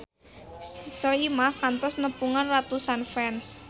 Soimah kantos nepungan ratusan fans